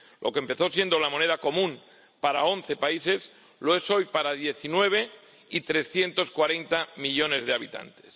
Lo que empezó siendo la moneda común para 11 países lo es hoy para 19 y 340 millones de habitantes.